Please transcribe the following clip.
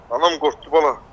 Anam qorxdu, bala.